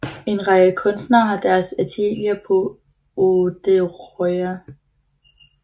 En række kunstnere har deres atelier på Odderøya